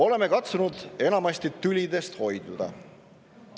Oleme katsunud enamasti tülidest hoiduda.